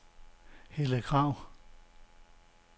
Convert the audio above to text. Helle Krag